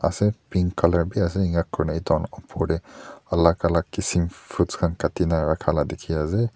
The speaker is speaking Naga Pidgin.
ase pink colour bi ase enika kurikae na edu khan opor tae alak alak kisim fruits khan Kati na rakhala dikhiase.